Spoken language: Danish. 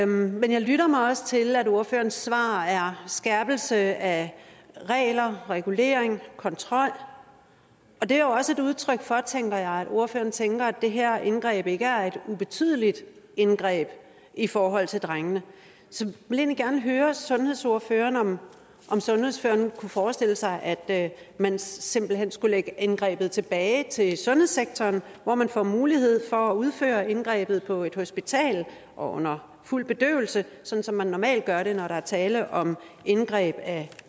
men jeg lytter mig også til at ordførerens svar er skærpelse af regler regulering kontrol og det er jo også et udtryk for tænker jeg at ordføreren tænker at det her indgreb ikke er et ubetydeligt indgreb i forhold til drengene så jeg vil egentlig gerne høre sundhedsordføreren om sundhedsordføreren kunne forestille sig at man simpelt hen skulle lægge indgrebet tilbage i sundhedssektoren hvor man får mulighed for at udføre indgrebet på et hospital og under fuld bedøvelse sådan som man normalt gør det når der er tale om indgreb